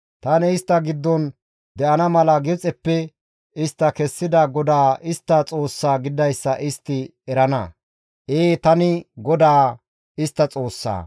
Tani istta giddon de7ana mala Gibxeppe istta kessida GODAA istta Xoossaa gididayssa istti erana. Ee, tani GODAA istta Xoossaa.